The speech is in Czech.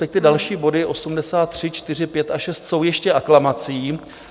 Teď ty další body 83, 84, 85 a 86 jsou ještě aklamací.